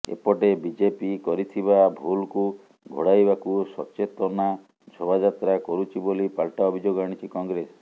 ଏପଟେ ବିଜେପି କରିଥିବା ଭୁଲକୁ ଘୋଡାଇବାକୁ ସଚେତନା ଶୋଭାଯାତ୍ରା କରୁଛି ବୋଲି ପାଲଟା ଅଭିଯୋଗ ଆଣିଛି କଂଗ୍ରେସ